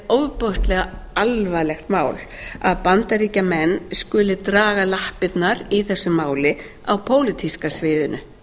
ofboðslega alvarlegt mál að bandaríkjamenn skuli draga lappirnar í þessu máli á pólitíska sviðinu